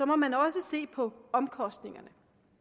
må man også se på omkostningerne